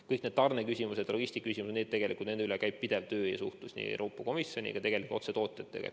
Kõik need tarneküsimused ja logistikaküsimused – nende lahendamiseks käib pidev töö ja suhtlus Euroopa Komisjoniga ja tegelikult ka otse tootjatega.